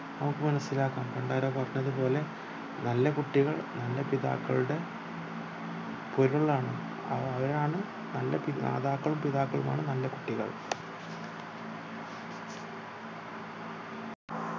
നമുക് മനസിലാക്കാം പണ്ടാരോ പറഞ്ഞത് പോലെ നല്ല കുട്ടികൾ നല്ല പിതാക്കളുടെ പൊരുൾ ആണ് അവ അവരാണ് മാതാക്കളും പിതാക്കളുമാണ് നല്ല കുട്ടികൾ